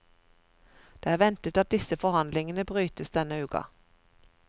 Det er ventet at disse forhandlingene brytes denne uken.